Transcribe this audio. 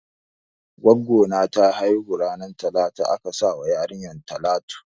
Gwaggo na ta haihu ranan talata aka sa wa yarinyar talatu.